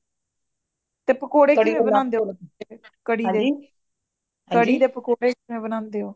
ਤੇ ਪਕੌੜੇ ਕਿਵਵੇ ਬਾਨਾਂਦੇਵੋ ਕੜੀ ਦੇ ਕੜੀ ਦੇ ਪਕੌੜੇ ਕਿਵਵੇ ਬਾਨਾਂਦੇਵੋ